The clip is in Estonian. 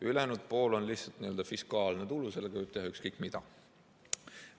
Ülejäänud pool on lihtsalt n‑ö fiskaalne tulu, sellega võib teha ükskõik mida.